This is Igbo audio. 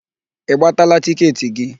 Ị gbataala tịketị gị?